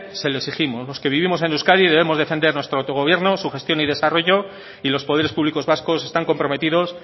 se lo exigimos los que vivimos en euskadi debemos defender nuestro autogobierno su gestión y desarrollo y los poderes públicos vascos están comprometidos